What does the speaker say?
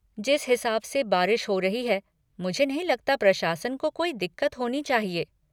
जिस हिसाब से बारिश हो रही है मुझे नहीं लगता प्रशासन को कोई दिक़्क़त होनी चाहिए।